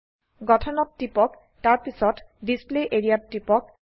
গঠনত টিপক তাৰপিছত ডিছপ্লে এৰিয়া ত টিপক